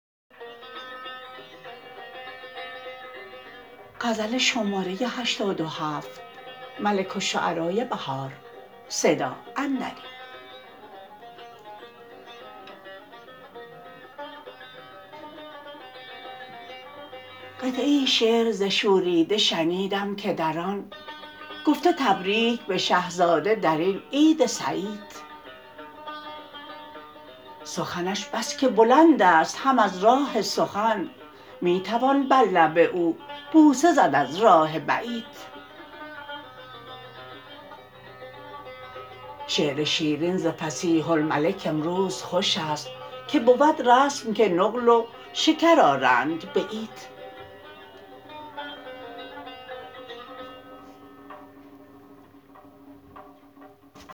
قطعه شعر ز شوریده شنیدم که در آن گفته تبریک به شهزاده در این عید سعید سخنش بس که بلند است هم از راه سخن می توان بر لب او بوسه زد از راه بعید شعر شیرین ز فصیح الملک امروز خوش است که بود رسم که نقل و شکر آرند به عید